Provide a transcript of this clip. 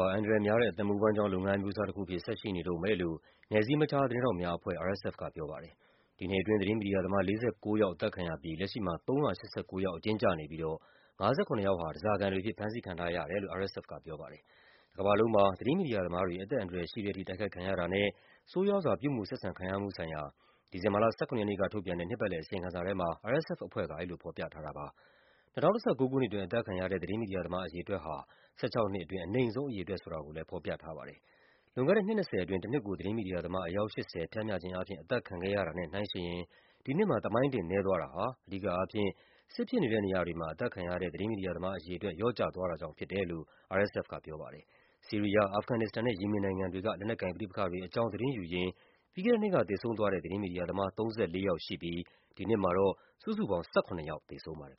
ာ အန္တရာယ်များတဲ့ အသက်မွေးဝမ်းကြောင်း လုပ်ငန်းအမျိုးအစားတခုအဖြစ် ဆက်ရှိနေတုန်းပဲလို့ နယ်စည်းမခြား သတင်းထောက်များအဖွဲ့ (RSF) က ပြောပါတယ်။ ဒီနှစ်အတွင်း သတင်းမီဒီယာသမား ၄၉ ယောက် အသတ်ခံရ ပြီး လက်ရှိမှာ ၃၈၉ ယောက် အကျဉ်းကျနေပြီးတော့ ၅၇ ယောက်ဟာ ဓားစာခံတွေအဖြစ် ဖမ်းဆီးခံထားရတယ်လို့ RSF က ပြောပါတယ်။ တကမ္ဘာလုံးမှာ သတင်းမီဒီယာသမားတွေ အသက်အန္တရာယ်ရှိတဲ့အထိ တိုက်ခိုက်ခံရတာနဲ့ ဆိုးရွားစွာ ပြုမူဆက်ဆံခံရမှုဆိုင်ရာ ဒီဇင်ဘာလ ၁၇ ရက်နေ့ကထုတ်ပြန်တဲ့ နှစ်ပတ်လည်အစီရင်ခံစာထဲမှာ RSF အဖွဲ့က အဲဒီလိုဖော်ပြထားတာပါ။ ၂၀၁၉ ခုနှစ် အတွင်း အသတ်ခံရတဲ့ သတင်းမီဒီယာသမား အရေအတွက်ဟာ ၁၆ နှစ်အတွင်း အနိမ့်ဆုံးအရေအတွက် ဆိုတာကိုလည်း ဖော်ပြ ထားပါတယ်။ လွန်ခဲ့တဲ့ နှစ် ၂၀ အတွင်း တနှစ်ကို သတင်းမီဒီယာသမား အယောက် ၈၀ ပျမ်းမျှခြင်းအားဖြင့် အသတ်ခံခဲ့ရတာနဲ့ နှိုင်းယှဉ်ရင် ဒီနှစ်မှာ သမိုင်းတင် နည်းသွားတာဟာ အဓိကအားဖြင့် စစ်ဖြစ်နေတဲ့နေရာတွေမှာ အသတ်ခံရတဲ့ သတင်းမီဒီယာသမား အရေ အတွက် လျော့ကျသွားတာကြောင့် ဖြစ်တယ်လို့ RSF ကပြောပါတယ်။ ဆီးရီးယား၊ အာဖဂန်နစ္စတန်နဲ့ ယီမင်နိုင်ငံတွေက လက်နက်ကိုင်ပဋိပက္ခတွေအကြောင်း သတင်းယူရင်း ပြီးခဲ့တဲ့နှစ်က သေဆုံး သွားတဲ့ သတင်းမီဒီယာသမား ၃၄ ယောက်ရှိပြီး ဒီနှစ်မှာတော့ စုစုပေါင်း ၁၇ ယောက် သေဆုံးပါတယ်